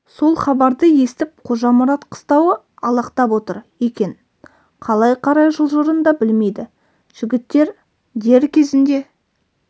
сол хабарды естіп қожамұрат қыстауы алақтап отыр екен қалай қарай жылжырын да білмейді жігіттер дер кезінде